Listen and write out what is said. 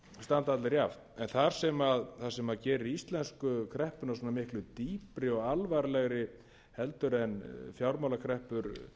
standa allir jafnt en það sem gerir íslensku kreppuna svona miklu dýpri og alvarlegri heldur en fjármálakreppur